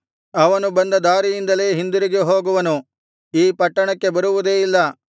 ಅವನು ಬಂದ ದಾರಿಯಿಂದಲೇ ಹಿಂದಿರುಗಿ ಹೋಗುವನು ಈ ಪಟ್ಟಣಕ್ಕೆ ಬರುವುದೇ ಇಲ್ಲ